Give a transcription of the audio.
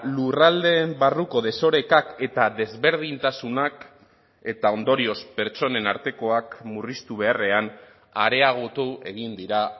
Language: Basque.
lurraldeen barruko desorekak eta desberdintasunak eta ondorioz pertsonen artekoak murriztu beharrean areagotu egin dira